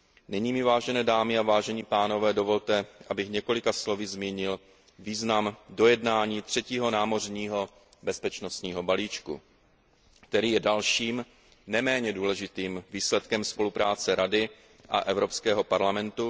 Nyní mi, vážené dámy a vážení pánové, dovolte, abych několika slovy zmínil význam dojednání třetího námořního bezpečnostního balíčku, který je dalším, neméně důležitým výsledkem spolupráce Rady a Evropského parlamentu.